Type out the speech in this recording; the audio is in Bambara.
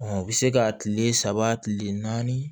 o bɛ se ka tile saba tile naani